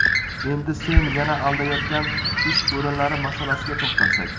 Endi sen yana aldayotgan ish o‘rinlari masalasiga to‘xtalsak.